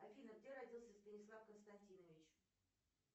афина где родился станислав константинович